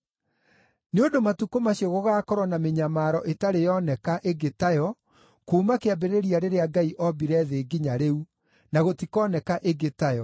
nĩ ũndũ matukũ macio gũgaakorwo na mĩnyamaro ĩtarĩ yoneka ĩngĩ tayo kuuma kĩambĩrĩria rĩrĩa Ngai ombire thĩ nginya rĩu, na gũtikoneka ĩngĩ tayo.